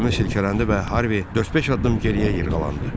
Gəmi silkələndi və Harvi dörd-beş addım geriyə yırğalandı.